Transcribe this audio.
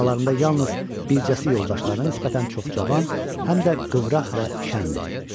Aralarında yalnız bircəsi yoldaşlara nisbətən çox cavan, həm də qıvraq və şən idi.